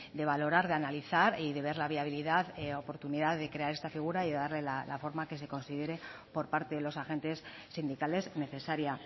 de valorar de analizar y de ver la viabilidad oportunidad de crear estar figura y de darle la forma que se considere por parte de los agentes sindicales necesaria